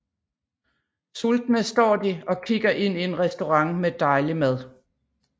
Sultne står de og kigger ind i en restaurant med dejlig mad